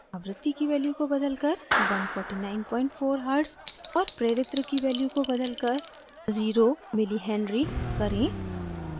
आवृत्ति की value को बदलकर 1494hz और प्रेरित्र की value को बदलकर 0 mh zero milli henry करें